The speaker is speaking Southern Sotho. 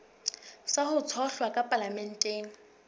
sa ho tshohlwa ka palamenteng